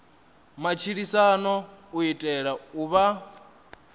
matshilisano u itela u vha